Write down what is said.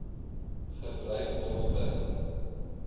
gebruik word vir